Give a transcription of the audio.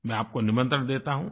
मैं आपको निमंत्रण देता हूँ